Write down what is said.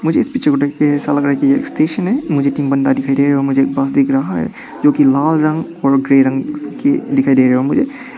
मुझे इस पिक्चर को देखके ऐसा लग रहा है कि यह स्टेशन है। मुझे तीन बन्दा दिखाई दे रहा है और मुझे एक बस दिख रहा है जो की लाल रंग और ग्रे रंग का दिखाई दे रहा मुझे।